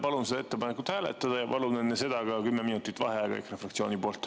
Palun ettepanekut hääletada ja palun enne seda ka 10 minutit vaheaega EKRE fraktsiooni poolt.